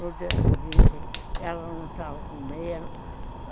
No dia seguinte, ela não estava com meia.